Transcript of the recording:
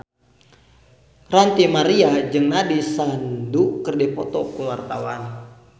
Ranty Maria jeung Nandish Sandhu keur dipoto ku wartawan